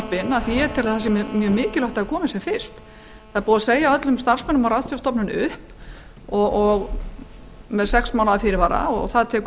ekki fram ég tel mjög mikilvægt að það gerist sem fyrst búið er að segja upp öllum starfsmönnum á ratsjárstofnun með sex mánaða fyrirvara og